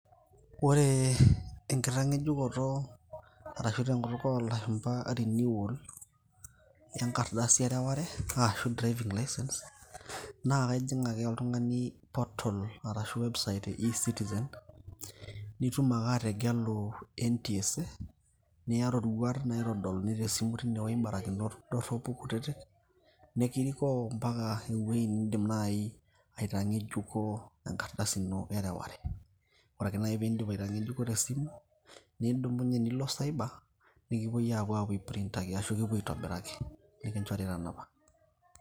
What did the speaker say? ore enkitang'ejukoto arashu tenkutuk olashumba renewal enkardasi ereware ashu driving license[cs naa kaijing ake oltung'ani portal ashu website e ecitizen nitum ake ategelu NTSA niya roruat naitodoluni tesimu tinewoi imbarakinot dorropu kutitik nikirikoo mpaka ewueji nindim naaji aitang'ejuko enkardasi ino ereware ore ake naaji piindip aitangejuko tesimu nidumunye nilo cyber nikipuoi apuo aeprintaki ashu kipuo aitobiraki nikinchori tanapa.